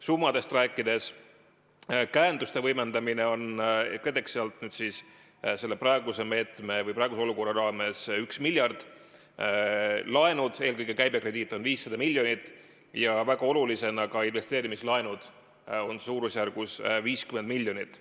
Summadest rääkides: käenduste võimendamine KredExi alt on praeguse olukorra raames 1 miljard, laenud – eelkõige käibekrediit – on 500 miljonit ja väga olulisena ka investeerimislaenud on suurusjärgus 50 miljonit.